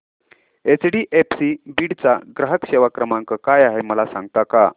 HDFC Beed चा ग्राहक सेवा क्रमांक काय आहे मला सांगता का